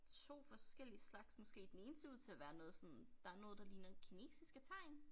2 forskellige slags måske den ene ser ud til at være noget sådan der noget der ligner kinesiske tegn